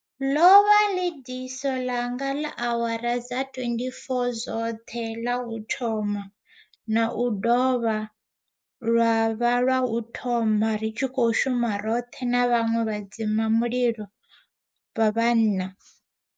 Ḽo vha ḽi diso ḽanga ḽa awara dza 24 dzoṱhe ḽa u tou thoma na u dovha lwa vha lwa u thoma ri tshi khou shuma roṱhe na vhaṅwe vhadzima mulilo vha vhanna.